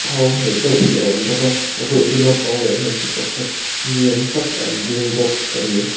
hmel deuh hi a awm bawk a a bulah chuan naupang leh hmeichhe pakhat ni awm tak an ding bawk a ni.